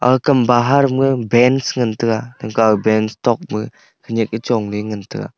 akam bahar maga bench ngan taga khanyiak chong ley ngan taga.